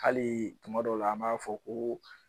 Hali tuma dɔw la an m'a fɔ ko